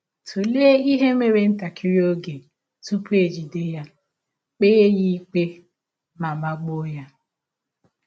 Tụlee ihe mere ntakịrị oge tụpụ e jide ya, kpee ya ikpe, ma, ma gbụọ ya.